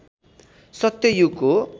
सत्य युगको